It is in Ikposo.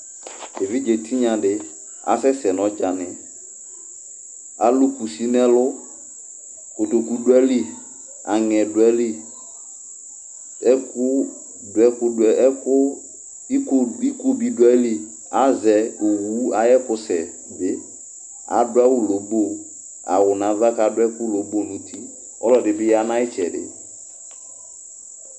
Evidze tinya dɩ asɛ sɛ nʋ ɔdzanɩ Alʋ kusi nʋ ɛlʋ Kotoku dʋ ayili, aŋɛ dʋ ayili, iko bɩ dʋ ayili Azɛ owʋ ayʋ ɛkʋsɛ bɩ Adʋ awʋ lobo Awʋ nʋ ava kʋ adʋ ɛkʋlobo nʋ uti Ɔlɔdɩ bɩ ya nʋ ayʋ ɩtsɛdɩ